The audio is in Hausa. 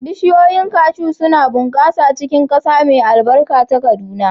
Bishiyoyin cashew suna bunƙasa a cikin ƙasa mai albarka ta Kaduna.